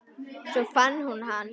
Svo fann hún hann.